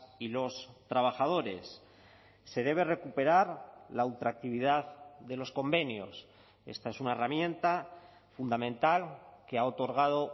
y los trabajadores se debe recuperar la ultraactividad de los convenios esta es una herramienta fundamental que ha otorgado